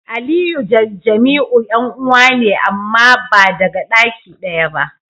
Aliyu da Jamiu yan'uwa ne amma ba daga daki daya ba.